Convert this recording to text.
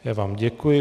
Já vám děkuji.